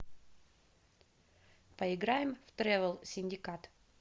поиграем в тревел синдикат